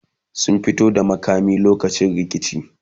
sun fito da makami lokacin rikici